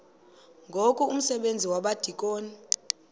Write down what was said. ngoku umsebenzi wabadikoni